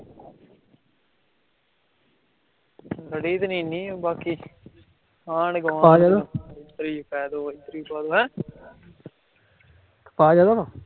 ਆਜੋ